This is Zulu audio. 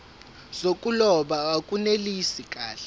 zokuloba akunelisi kahle